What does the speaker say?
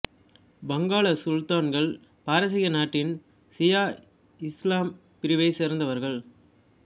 வங்காள சுல்தான்கள் பாரசீக நாட்டின் சியா இசுலாம் பிரிவைச் சேர்ந்தவர்கள்